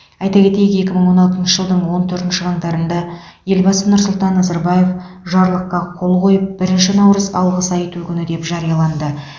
айта кетейік екі мың он алтыншы жылдың он төртінші қаңтарында елбасы нұрсұлтан назарбаев жарлыққа қол қойып бірінші наурыз алғыс айту күні деп жарияланды